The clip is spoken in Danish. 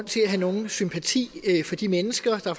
til at have nogen sympati for de mennesker og der